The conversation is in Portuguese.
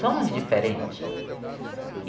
Somos diferentes.